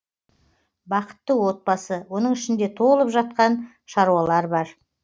бақытты отбасы оның ішінде толып жатқан шаруалар бар